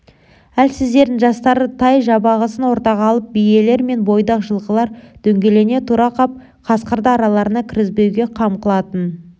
әлсіздерін жастарын тай-жабағысын ортаға алып биелер мен бойдақ жылқылар дөңгелене тұра қап қасқырды араларына кіргізбеуге қам қылатын